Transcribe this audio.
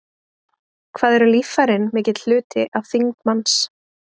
Hvað eru líffærin mikill hluti af þyngd manns?